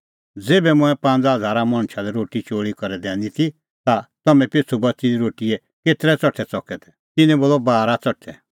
ज़ेभै मंऐं पांज़ा हज़ारा मणछा लै रोटी चोल़ी करै दैनी ती ता तम्हैं पिछ़ू बच़ी दी रोटीए केतरै च़ठै च़कै तै तिन्नैं बोलअ बारा च़ठै